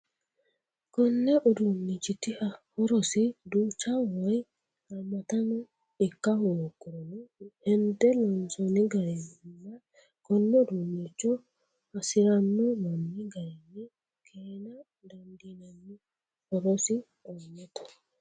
Koni uduunchiti horosi duucha woyi hamattano ikka hoogurono hende loonsonni garinna kone uduuncho hasirano manni garinni keena dandiinanni horosi aanotta.